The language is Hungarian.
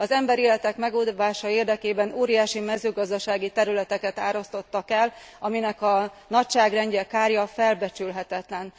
Az emberéletek megóvása érdekében óriási mezőgazdasági területeket árasztottak el, aminek a nagyságrendje, kára felbecsülhetetlen.